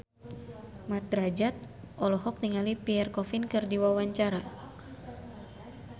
Mat Drajat olohok ningali Pierre Coffin keur diwawancara